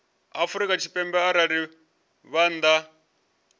afrika tshipembe arali vha nnḓa